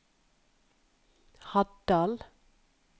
Haddal